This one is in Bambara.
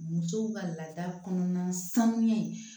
Musow ka laada kɔnɔna sanuya in